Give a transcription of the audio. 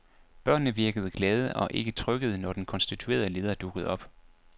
Børnene virkede glade og ikke trykkede, når den konstituerede leder dukkede op.